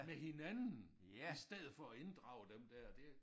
Med hinanden i stedet for at inddrage dem der det